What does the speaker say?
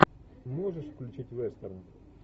можешь включить вестерн